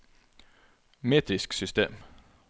metrisk system